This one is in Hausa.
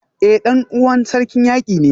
Eh dan uwana Sarkin Yaki ne